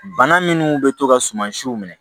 Bana minnu bɛ to ka sumansiw minɛ